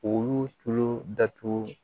Olu tulo datugu